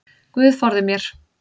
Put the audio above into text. Guð forði mér.